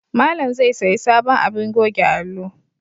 Malam zai sayi sabon abin goge alo